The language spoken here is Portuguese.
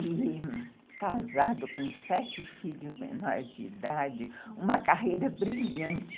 E casado com sete filhos menores de idade, uma carreira brilhante.